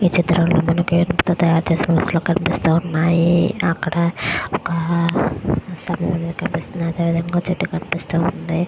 ఈ చిత్రం లో మనకి ఏనుగు తో తాయారుచేసిన కనిపిస్తు ఉన్నాయి అక్కడ ఒక కనిపిస్తూ ఉంది.